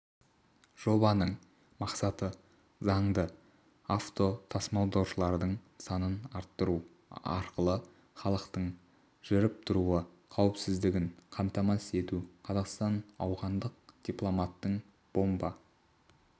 жобаның мақсаты заңды автотасымалдаушылардың санын арттыру арқылы халықтың жүріп-тұруы қауіпсіздігін қамтамасыз ету қазақстан ауғандық дипломаттың бомба